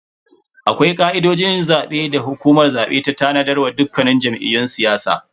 Akwai ka'idojin zabe da hukumar zabe ta tanadar wa dukkan jam'iyyun siyasa.